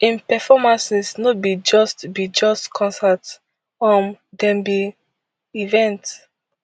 im performances no be just be just concerts um dem be events